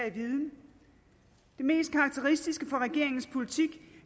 i viden det mest karakteristiske for regeringens politik